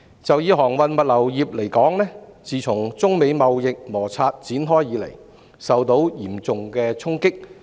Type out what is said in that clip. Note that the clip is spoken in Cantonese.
就航運物流業而言，自中美貿易摩擦展開以來，該行業受到嚴重衝擊。